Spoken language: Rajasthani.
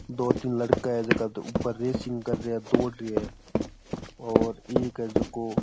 दो तीन लड़का है जो उपर रेसिंग कर रहे है और एक है जको --